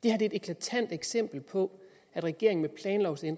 er et eklatant eksempel på at regeringen